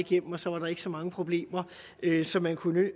og så var der ikke så mange problemer som man kunne